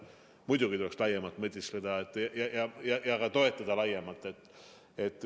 Muidugi tuleks laiemalt mõtiskleda ja ka toetada laiemalt.